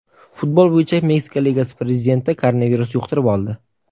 Futbol bo‘yicha Meksika ligasi prezidenti koronavirus yuqtirib oldi.